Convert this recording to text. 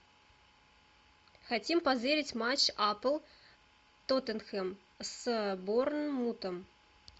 хотим позырить матч апл тоттенхэм с борнмутом